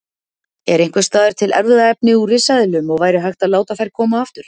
Er einhvers staðar til erfðaefni úr risaeðlum og væri hægt að láta þær koma aftur?